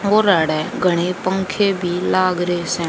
घड़ें पंखे लाग रहे है।